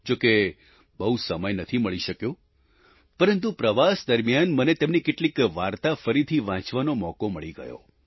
જો કે બહુ સમય નથી મળી શક્યો પરંતુ પ્રવાસ દરમિયાન મને તેમની કેટલીક વાર્તા ફરીથી વાંચવાનો મોકો મળી ગયો